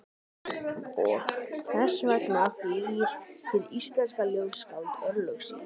Og þess vegna flýr hið íslenska ljóðskáld örlög sín.